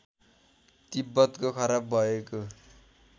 तिब्बतको खराब भएको